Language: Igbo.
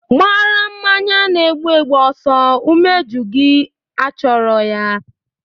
Gbara mmanya na-egbu egbu ọsọ.: Umeji gị achọrọ ya!